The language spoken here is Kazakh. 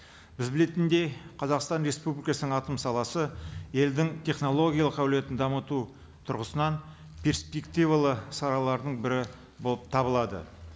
біз білетіндей қазақстан республикасының атом саласы елдің технологиялық әлеуетін дамыту тұрғысынан перспективалы салалардың бірі болып табылады